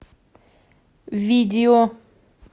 видео